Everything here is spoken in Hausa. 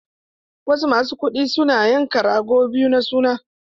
Wasu masu kuɗi suna yanka rago biyu na suna.